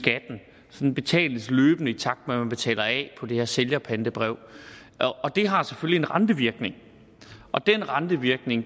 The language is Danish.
den betales løbende i takt med at man betaler af på det her sælgerpantebrev det har selvfølgelig en rentevirkning og den rentevirkning